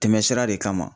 Tɛmɛsira de kama